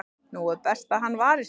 nú er best að hann vari sig,